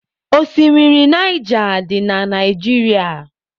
Oshimiri Naija dị na Naijiria.